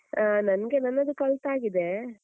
ಆಹ್ ನಂಗೆ ನನ್ನದು ಕಲ್ತಾಗಿದೆ.